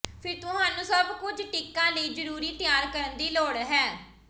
ਫਿਰ ਤੁਹਾਨੂੰ ਸਭ ਕੁਝ ਟੀਕਾ ਲਈ ਜ਼ਰੂਰੀ ਤਿਆਰ ਕਰਨ ਦੀ ਲੋੜ ਹੈ